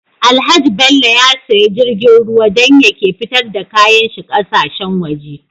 Alhaji bello ya siya jirgin ruwa dan ya ke fitar da kayan shi ƙasa shen waje